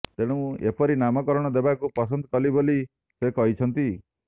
ତେଣୁ ଏପରି ନାମକରଣ ଦେବାକୁ ପସନ୍ଦ କଲି ବୋଲି ସେ କହିଛନ୍ତି